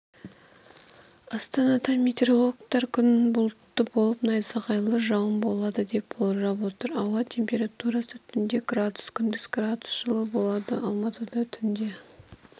астанада метеорологтар күн болтты болып найзағайлы жауын болады деп болжап отыр ауа температурасы түнде градус күндіз градус жылы болады алматыда түнде